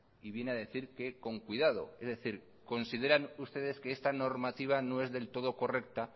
y viene a decir que con cuidado es decir consideran ustedes que esta normativa no es del todo correcta